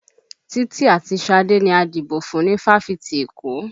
Títí àti Ṣadé ni a dìbò fún ni fáfitì Èkó